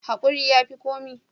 Hakuri ya fi komi.